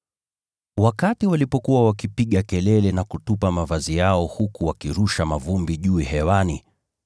Walipokuwa wakipiga kelele na kutoa mavazi yao huku wakirusha mavumbi juu hewani,